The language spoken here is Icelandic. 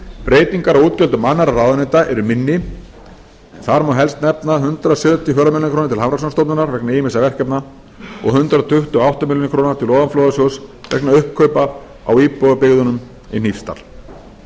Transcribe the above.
breytingar á útgjöldum annarra ráðuneyta er minni en þar má helst nefna hundrað sjötíu og fjórar milljónir króna til hafrannsóknastofnunar vegna ýmissa verkefna og hundrað tuttugu og átta milljónir króna til ofanflóðasjóðs vegna uppkaupa á íbúðarbyggðunum í hnífsdal